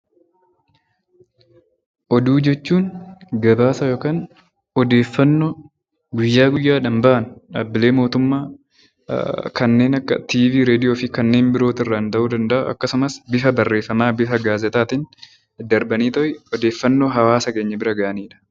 Oduu jechuun gabaasa yookaan odeeffannoo guyyaa guyyaadhaan bahan dhaabbilee mootummaa kanneen akka tiivii raadiyoo fi kennamuu danda'a akkasumas bifa barreeffamaan bifa gaazexaan kennamuu danda'a. Darbanii odeeffannoo hawaasa keenya biraan gahanidha.